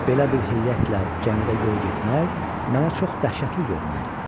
Belə bir heyətlə gəmidə yol getmək mənə çox dəhşətli görünürdü.